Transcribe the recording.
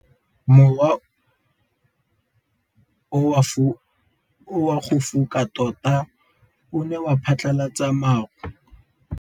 Mowa o wa go foka tota o ne wa phatlalatsa maru.